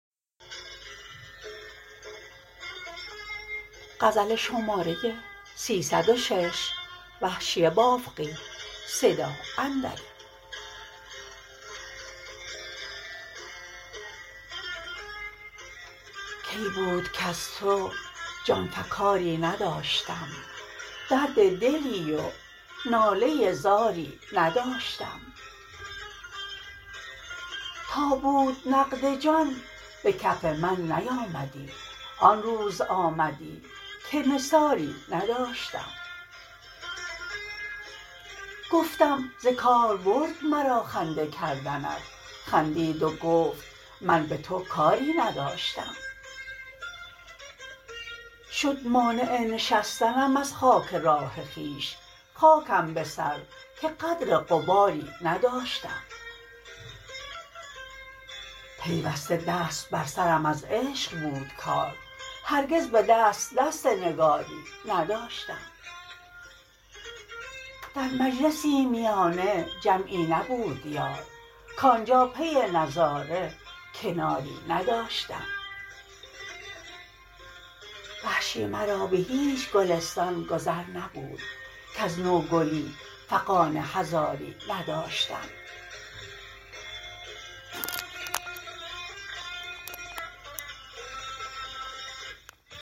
کی بود کز تو جان فکاری نداشتم درد دلی و ناله زاری نداشتم تا بود نقد جان به کف من نیامدی آنروز آمدی که نثاری نداشتم گفتم ز کار برد مرا خنده کردنت خندید و گفت من به تو کاری نداشتم شد مانع نشستنم از خاک راه خویش خاکم به سر که قدر غباری نداشتم پیوسته دست بر سرم از عشق بود کار هرگز به دست دست نگاری نداشتم در مجلسی میانه جمعی نبود یار کانجا پی نظاره کناری نداشتم وحشی مرا به هیچ گلستان گذر نبود کز نوگلی فغان هزاری نداشتم